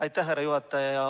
Aitäh, härra juhataja!